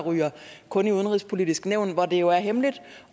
kun ryger i udenrigspolitisk nævn hvor det jo er hemmeligt